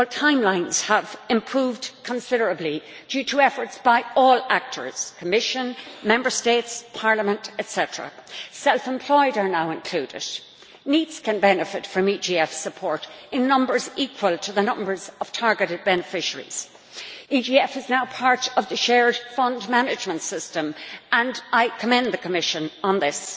Well, timelines have improved considerably due to efforts by all actors the Commission, Member States, Parliament, etc. The self employed are now included. NEETs can benefit from EGF support in numbers equal to the numbers of targeted beneficiaries. The EGF is now part of the shared fund management system, and I commend the Commission on this.